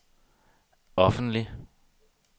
offentlig